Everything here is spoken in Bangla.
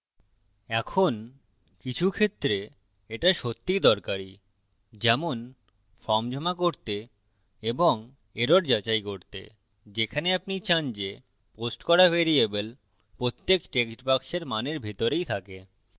এখন কিছু ক্ষেত্রে এটা সত্যিই দরকারী যেমন form জমা করতে এবং error যাচাই করতে যেখানে আপনি চান যে পোস্ট করা ভ্যারিয়েবল প্রত্যেক text box মানের ভিতরেই থাকে